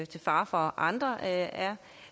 til fare for andre er